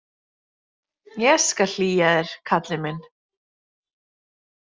Ég skal hlýja þér, karlinn minn.